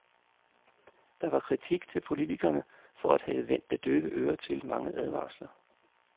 Der var kritik til politikerne for at have vendt det døve øre til mange advarsler.